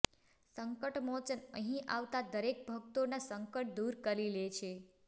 સંકટમોચન અહીં આવતા દરેક ભક્તોના સંકટ દૂર કરી લે છે